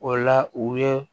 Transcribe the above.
O la u ye